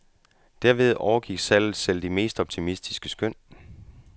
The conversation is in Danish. Derved overgik salget selv de mest optimistiske skøn.